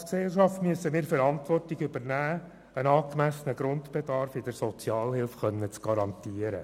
Als Gesellschaft müssen wir die Verantwortung übernehmen und in der Sozialhilfe einen angemessenen Grundbedarf garantieren.